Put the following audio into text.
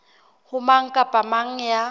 ho mang kapa mang ya